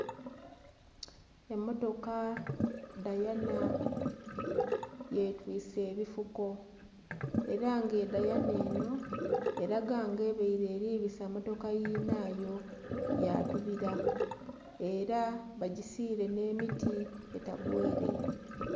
Emotoka dayana yetwise ebifuko era nga edayana enho eraga nga ebaire eribisa motoka yinhayo yatubila era bagisiile nhe miti etagwa ere.